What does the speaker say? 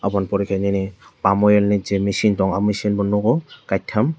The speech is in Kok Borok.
abo ni pore ke nini pam oil ni ji michin tang o michin bo nogo kaitam.